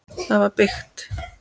Það var byggt